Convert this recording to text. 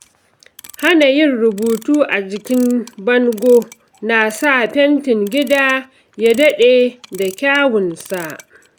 Hana yin rubutu a jikin bango na sa fentin gida ya daɗe da kyawunsa.